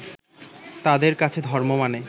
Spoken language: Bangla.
তাঁদের কাছে ধর্ম মানে